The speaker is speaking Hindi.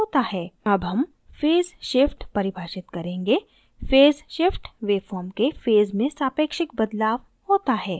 अब हम phase shift परिभाषित करेंगे phase shift waveform के phase में सापेक्षिक relative बदलाव होता है